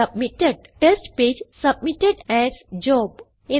submitted - test page submitted as job